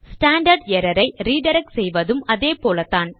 standard error ஐ redirect செய்வதும் அதேபோல்தான்